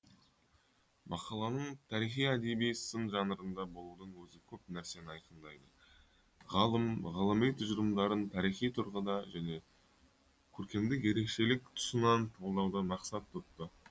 мақаланың тарихи әдеби сын жанрында болудың өзі көп нәрсені айқындайды ғалым ғылыми тұжырымдарын тарихи тұрғыда және көркемдік ерекшелік тұсынан талдауды мақсат тұтты